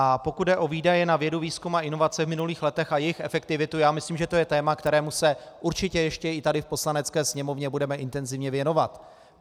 A pokud jde o výdaje na vědu, výzkum a inovace v minulých letech a jejich efektivitu, já myslím, že to je téma, kterému se určitě ještě i tady v Poslanecké sněmovně budeme intenzivně věnovat.